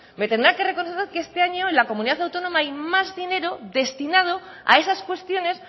me tendrán que reconocer que este año en la comunidad autónoma hay más dinero destinado a esas cuestiones